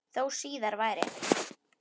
Þó síðar væri.